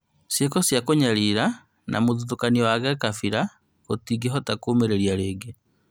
Cĩĩko cia kũnyarira na mũthutũkanio wa kabira tũtingĩhota kũũmĩrĩria rĩngĩ